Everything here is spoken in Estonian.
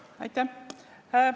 Aitäh!